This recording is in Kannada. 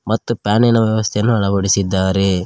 ಮತ್ತು ಫ್ಯಾನಿ ನ ವ್ಯವಸ್ಥೆಯನ್ನು ಅಳವಡಿಸಿದ್ದಾರೆ.